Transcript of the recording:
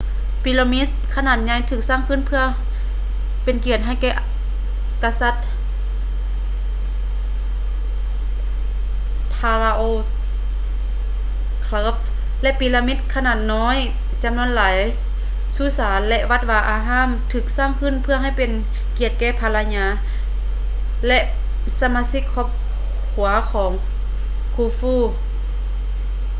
ປີຣາມິດຂະໜາດໃຫຍ່ຖືກສ້າງຂຶ້ນເພື່ອເປັນກຽດໃຫ້ແກ່ກະສັດ pharaoh khuf ແລະ ປີຣາມິດຂະໜາດນ້ອຍຈໍານວນຫຼາຍ ສຸສານ ແລະ ວັດວາອາຮາມຖືກສ້າງຂຶ້ນເພື່ອເປັນກຽດແກ່ພັນລະຍາ ແລະ ສະມາຊິກຄອບຄົວຂອງ khufu